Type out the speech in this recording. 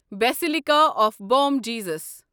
basilica of Bom Jesus